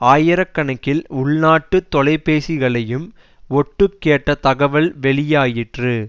ஆயிர கணக்கில் உள்நாட்டு தொலைபேசிகளையும் ஒட்டு கேட்ட தகவல் வெளியாயிற்று